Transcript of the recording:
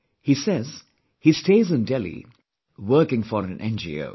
He says, he stays in Delhi, working for an NGO